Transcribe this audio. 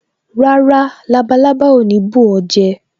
Rárá, labalábá ò ní bù ó jẹ